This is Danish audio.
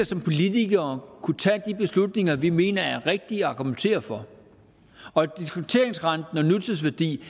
som politikere kunne tage de beslutninger vi mener er rigtige argumentere for og diskonteringsrenten og nutidsværdi